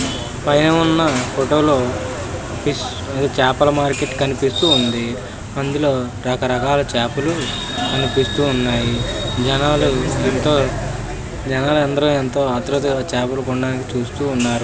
పైన ఉన్న ఫోటోలో ఫిష్ చాపల మార్కెట్ కనిపిస్తూ ఉంది . అందులో రకరకాల చేపలు కనిపిస్తూ ఉన్నాయి. జనాలు ఎంతో జనాలు అందరూ ఏంతో ఆతృతతో చాపలు కొనడానికి చూస్తూ ఉన్నారు.